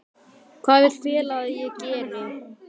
Hvað vill félagið að ég geri?